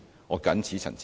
我謹此陳辭。